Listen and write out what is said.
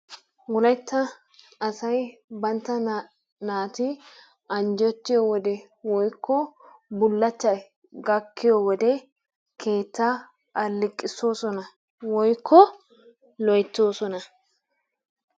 Wolaitta asay banttana naati anjjettiyo wode woikko bullachchay gakkiyiyoo wode keettaa aleqisosoona woikko loyttosona.